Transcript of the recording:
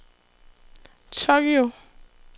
Tokyo